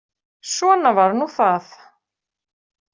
Svona var nú það.